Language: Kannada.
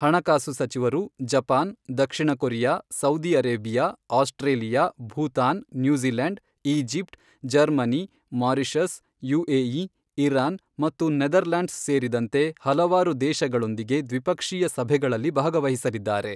ಹಣಕಾಸು ಸಚಿವರು ಜಪಾನ್, ದಕ್ಷಿಣ Korea, Saudi Arabia, Australia, Bhutan, New Zealand, Egypt, Germany, Mauritius, UAE, Iran ಮತ್ತು ನೆದರ್ಲ್ಯಾಂಡ್ಸ್ ಸೇರಿದಂತೆ ಹಲವಾರು ದೇಶಗಳೊಂದಿಗೆ ದ್ವಿಪಕ್ಷೀಯ ಸಭೆಗಳಲ್ಲಿ ಭಾಗವಹಿಸಲಿದ್ದಾರೆ.